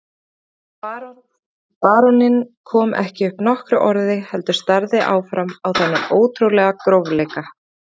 Baróninn kom ekki upp nokkru orði heldur starði áfram á þennan ótrúlega grófleika.